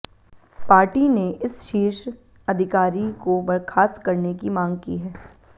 party ने इस शीर्ष अधिकारी को बर्खास्त करने की मांग की है